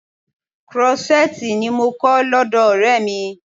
Krọ́ṣẹ́tìì ni mò ń kọ́ lọ́dọ̀ Ọ̀rẹ́ mi.